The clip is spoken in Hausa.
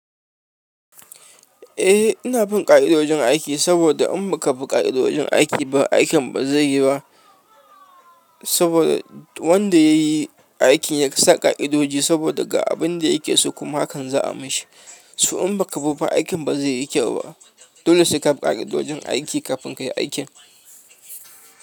Eh, ina bin ƙa'idojin aiki saboda in baka bi ƙa'idojin aiki ba, aikin bazai yi ba. Saboda wanda yayi aikin ya kasa ƙa'idoji saboda ga abin da yake so kuma hakan za a mushi. To idan imbaka biba aikin bazaiyi keu ba dole sai kabi ƙa'idojin aiki kafin kai aiki.